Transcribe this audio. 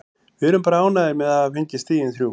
Við erum bara ánægðir með að hafa fengið stigin þrjú.